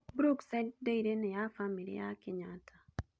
Brookside Dairy nĩ ya bamĩrĩ ya Kenyatta.